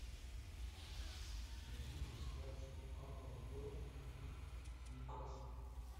найди трансляцию апл борнмута с ньюкаслом